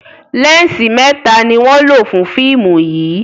lẹnsi mẹta ní wón ló fún fíìmù yí.